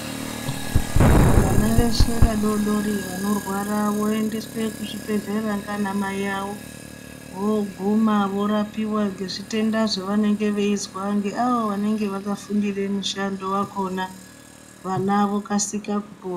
Vana veshe vadodori vanorwara, voendeswe kuzvibhedhlera nganamai awo voguma vorapiwe ngezvitenda zvevanenge veizwa ngeavo vanenge vakafundire mushando wakhona, vana vokasika kupora.